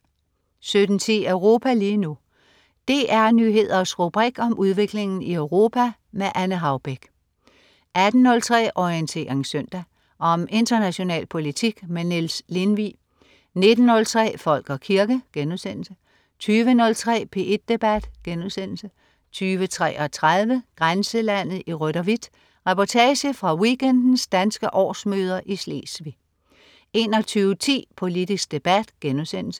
17.10 Europa lige nu. DR Nyheders rubrik om udviklingen i Europa. Anne Haubek 18.03 Orientering Søndag. Om international politik. Niels Lindvig 19.03 Folk og kirke* 20.03 P1 Debat* 20.33 Grænselandet i rødt og hvidt. Reportage fra weekendens danske årsmøder i Sydslesvig 21.10 Politisk debat*